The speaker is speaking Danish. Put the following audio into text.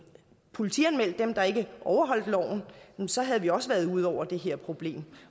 politianmeldt dem der ikke overholder loven så havde vi også været ude over det her problem